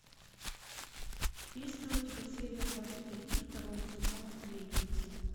есть ли у тебя серия двадцать один второго сезона сплетница